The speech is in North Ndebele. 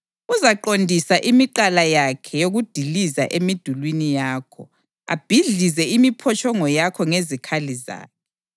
Uzaqondisa imigqala yakhe yokudiliza emidulini yakho, abhidlize imiphotshongo yakho ngezikhali zakhe.